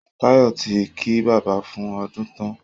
Tayọ ti kí bàbá fún ọdun tán